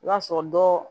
I b'a sɔrɔ dɔ